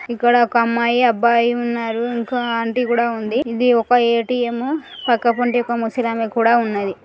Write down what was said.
ఇక్కడ ఒక అమ్మాయి అబ్బాయి ఉన్నారు. ఇంకా ఆంటీ కూడా ఉంది. ఇది ఒక ఏ _టి _ఎమ్ పక్కకుంటే ఒక ముసలి ఆమె కూడ ఉన్నది .